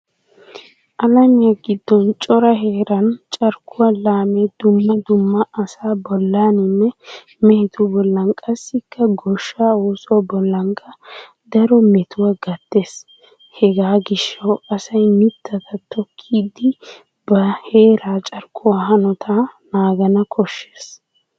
Alamiya giddon cora heeran carkkuwa laame dumma dumma asaa bollaaninne mehetu bollan qassikka goshshaa oosuwa bollaanikka daro metuwa gattees. Hegaa gishshawu asay mittata tokkidi ba heeraa carkkuwa hanotaa naagana koshshees.